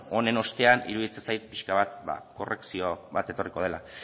honen ostean iruditzen zait pixka bat korrekzio bat etorriko dela